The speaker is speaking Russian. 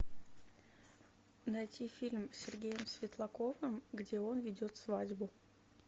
найти фильм с сергеем светлаковым где он ведет свадьбу